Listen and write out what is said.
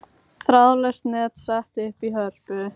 Þráðlaust net sett upp í Hörpu